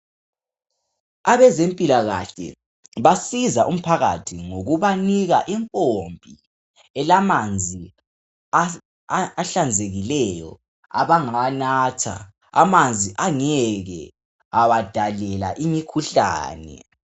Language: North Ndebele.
Abezempilakahle basiza umphakathi ngokubanika impompi elamanzi asi ahlanzekileyo abangawanatha amanzi angeke abadalela imikhuhlane.